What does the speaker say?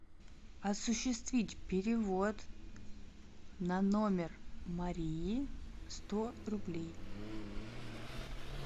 осуществить перевод на номер марии сто рублей